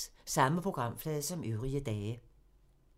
Samme programflade som øvrige dage